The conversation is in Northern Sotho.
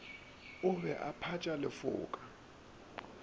o be a phatša lefoka